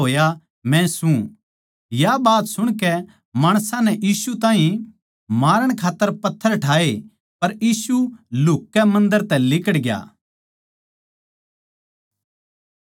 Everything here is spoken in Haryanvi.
या बात सुणकै माणसां नै यीशु ताहीं मारण खात्तर पत्थर ठाए पर यीशु लुह्ककै मन्दर तै लिकड़ ग्या